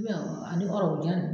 Miyan o ani ɔrɔbu jan nunnu